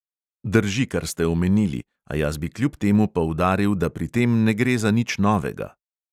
Drži, kar ste omenili, a jaz bi kljub temu poudaril, da pri tem ne gre za nič novega.